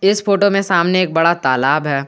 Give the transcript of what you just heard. इस फोटो में सामने एक बड़ा तालाब है।